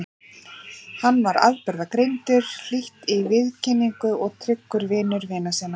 Hann var afburðagreindur, hlýr í viðkynningu og tryggur vinur vina sinna.